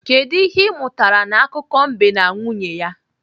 Kedụ ihe ị mụtara n'akụkọ mbe na nwunye ya?